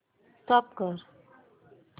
stop करा